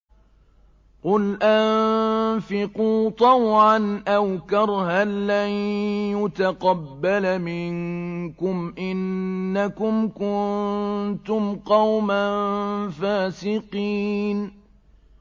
قُلْ أَنفِقُوا طَوْعًا أَوْ كَرْهًا لَّن يُتَقَبَّلَ مِنكُمْ ۖ إِنَّكُمْ كُنتُمْ قَوْمًا فَاسِقِينَ